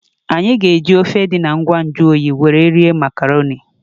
Anyị ga-eji ofe dị na ngwa nju oyi were rie makarọnị.